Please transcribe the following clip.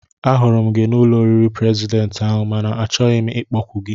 Ahụrụ m gị n'ụlọ oriri prezidentị ahụ mana achọghị m ịkpọku gị